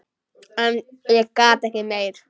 En ég gat ekki meir.